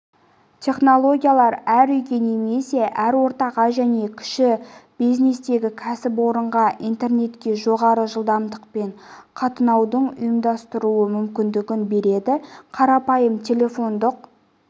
технологиялар әр үйге немесе әр ортаға және кіші бизнестегі кәсіпорынға интернетке жоғары жылдамдықпен қатынауды ұйымдастыру мүмкіндігін береді қарапайым телефондық